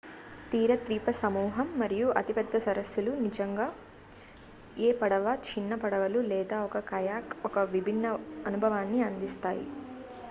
తీర ద్వీపసమూహం మరియు అతిపెద్ద సరస్సులు నిజంగా ఏ పడవ చిన్న పడవలు లేదా ఒక కయాక్ ఒక విభిన్న అనుభవాన్ని అందిస్తాయి